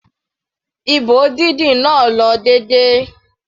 Ìbò dídì náà lọ déédéé.